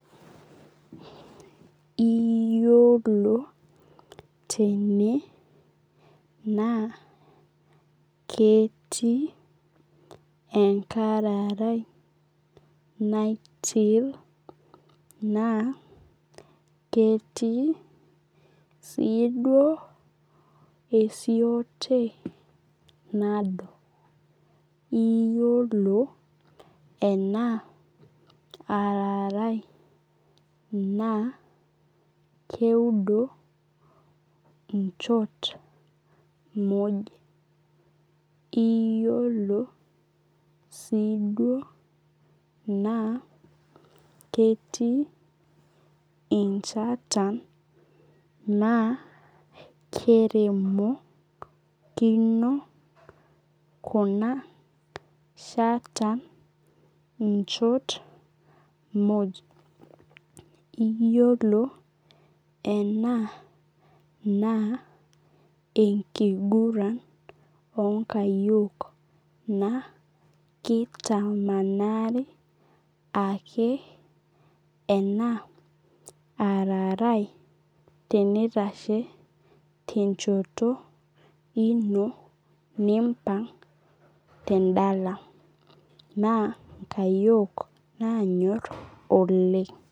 Iyiolo tene naa ketii enkararai naitil naa ketii siiduo esiote nado. Iyiolo ena ararai naa keudo inchot muj. Iyiolo soi duo ketii inchata na keremokino kuna shatan inchot muj. Iyiolo ena naa enkiguran oo nkayiol naa kitamkanari ake ena ararai naa tenitashe tenchoto ino nimpang' tedala. Naa inkayiok nanyor oleng'.